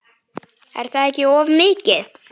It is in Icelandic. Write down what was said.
Er það ekki of mikið?